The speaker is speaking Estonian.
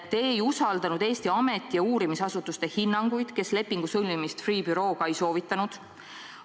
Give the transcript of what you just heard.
Te ei usaldanud Eesti ameti- ja uurimisasutuste hinnanguid, kes lepingu sõlmimist Freeh' bürooga ei soovitanud.